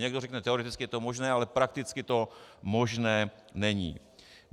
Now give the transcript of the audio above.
Někdo řekne, teoreticky je to možné, ale prakticky to možné není.